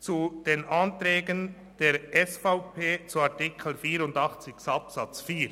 Zu den Anträgen der SVP zu Artikel 84 Absatz 4: